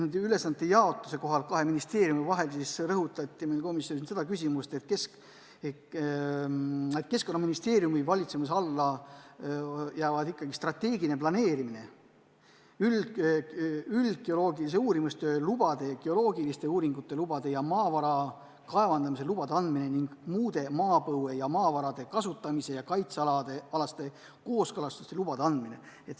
Nende ülesannete jaotust kahe ministeeriumi vahel selgitades rõhutati komisjonis seda, et Keskkonnaministeeriumi valitsemise alla jäävad strateegiline planeerimine, üldgeoloogilise uurimistöö lubade, geoloogiliste uuringute lubade ja maavara kaevandamise lubade andmine ning muude maapõue ja maavarade kasutamise ja kaitse alaste kooskõlastuste ja lubade andmine.